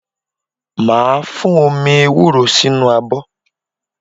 Màá fún omi ewúro sínú abọ́